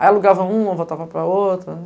Aí alugava uma, voltava para a outra.